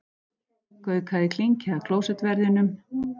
Gaukaði klinki að klósettverðinum.